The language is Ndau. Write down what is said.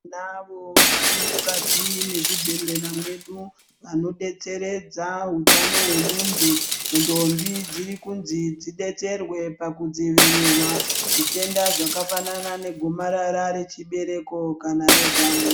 Tinavo varimukati mezvibhehleya mwedu, vanodetseredza utano hwemuntu ntombi dziri kunzi dzidetseredze pakudzivirira zvitenda zvakafanana negomarara rechibereko kana rezamu.